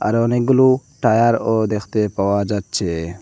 আর অনেকগুলো টায়ারও দেখতে পাওয়া যাচ্ছে।